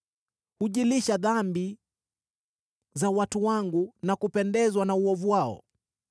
Hujilisha dhambi za watu wangu na kupendezwa na uovu wao.